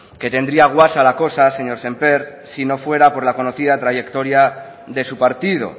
que tendría guasa la cosa señor sémper si no fuera por la conocida trayectoria de su partido